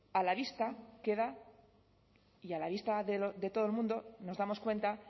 a la vista queda y a la vista de todo el mundo nos damos cuenta